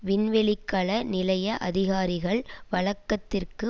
விண்வெளிக்கல நிலைய அதிகாரிகள் வழக்கத்திற்கு